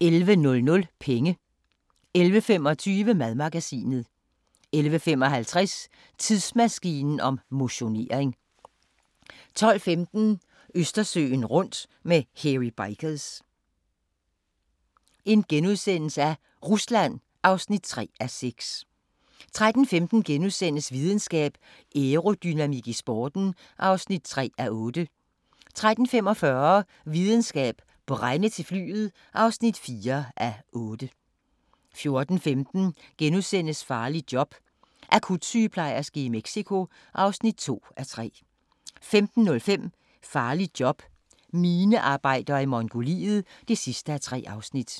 11:00: Penge 11:25: Madmagasinet 11:55: Tidsmaskinen om motionering 12:15: Østersøen rundt med Hairy Bikers – Rusland (3:6)* 13:15: Videnskab: Aerodynamik i sporten (3:8)* 13:45: Videnskab: Brænde til flyet (4:8) 14:15: Farligt job – akutsygeplejerske i Mexico (2:3)* 15:05: Farligt job – minearbejder i Mongoliet (3:3) 16:00: